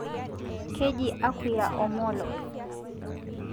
Keji akuyia Omollo